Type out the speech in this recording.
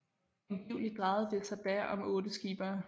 Angiveligt drejede det sig da om 8 skippere